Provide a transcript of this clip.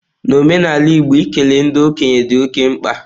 N'omenala igbo, ikele ndị okenye dị oke mkpa.